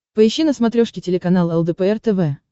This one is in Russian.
поищи на смотрешке телеканал лдпр тв